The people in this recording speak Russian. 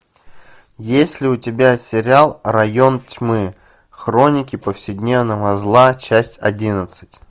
есть ли у тебя сериал район тьмы хроники повседневного зла часть одиннадцать